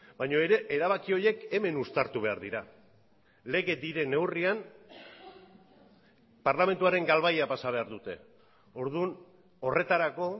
baina ere erabaki horiek hemen uztartu behar dira lege diren neurrian parlamentuaren galbaia pasa behar dute orduan horretarako